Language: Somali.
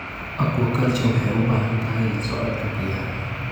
Aquaculture waxay u baahan tahay la socodka biyaha.